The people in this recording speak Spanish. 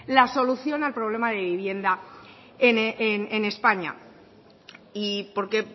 la solución al problema de vivienda en españa y porque